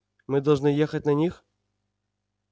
мы должны ехать на них